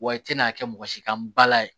Wa i tɛna kɛ mɔgɔsi kan bala ye